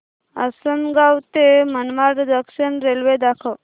आसंनगाव ते Manmad junction railway दाखव